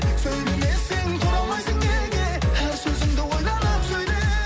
сөйлемесең тұра алмайсың неге әр сөзіңді ойланып сөйле